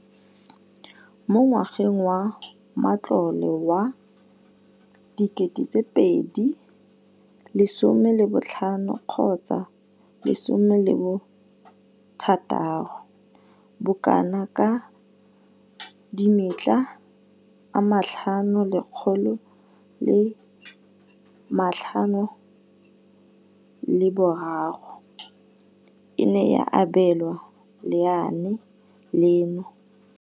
Mo ngwageng wa matlole wa 2015,16, bokanaka R5 703 bilione e ne ya abelwa lenaane leno.